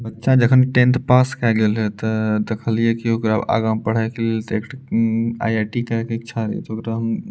बच्चा जखन tenth pass कैए गेल रहे ते देखलिए की ओकरा आगा पढ़य के लिए उम्म आई.आई.टी. करय के इच्छा रहे ओकरा हम --